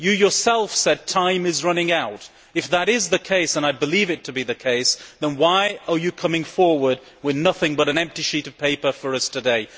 You yourself said that time is running out. If that is the case, and I believe it to be the case, then why have you come forward with nothing but a blank sheet for us today?